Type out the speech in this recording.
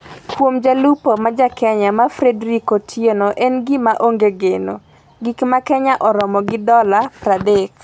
Kuom jalupo ma ja Kenya ma Frederike Otieno, en gima onge geno. Gik ma Kenya romo gi dola 30;